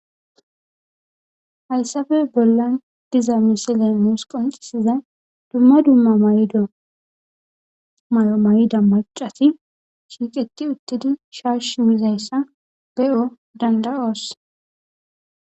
hayssafe bollan diza misile nuus qonxisizay dumma dumma mayido may7o mayida macati shiiqeti uttedi shashi mizayssa be7o danda7oos